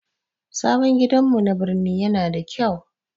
Sabon gidanmu na birni yana da kyau.